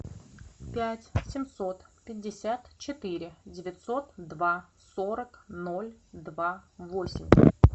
пять семьсот пятьдесят четыре девятьсот два сорок ноль два восемь